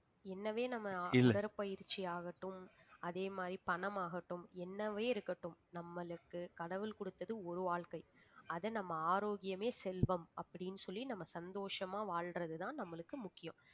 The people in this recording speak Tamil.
என்னவே நம்ம உடற்பயிற்சி ஆகட்டும் அதே மாதிரி பணம் ஆகட்டும் என்னவே இருக்கட்டும் நம்மளுக்கு கடவுள் கொடுத்தது ஒரு வாழ்க்கை அதை நம்ம ஆரோக்கியமே செல்வம் அப்படின்னு சொல்லி நம்ம சந்தோஷமா வாழ்றதுதான் நம்மளுக்கு முக்கியம்